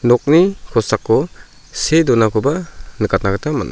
nokni kosako see donakoba nikatna gita man·a.